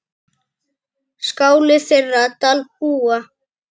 Skáli þeirra Dalbúa.